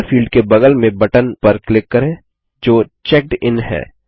दाता फील्ड के बगल में बटन पर क्लिक करें जो चेकडिन है